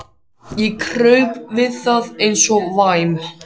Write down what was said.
Ég kraup við það eins og væm